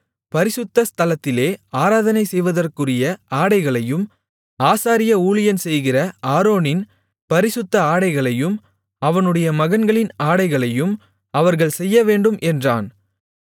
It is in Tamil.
பரிசுத்த ஸ்தலத்திலே ஆராதனை செய்வதற்குரிய ஆடைகளையும் ஆசாரிய ஊழியம்செய்கிற ஆரோனின் பரிசுத்த ஆடைகளையும் அவனுடைய மகன்களின் ஆடைகளையும் அவர்கள் செய்யவேண்டும் என்றான்